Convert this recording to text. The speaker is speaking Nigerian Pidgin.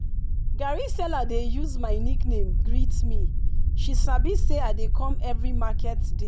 garri seller dey use my nickname greet me she sabi say i dey come every market day.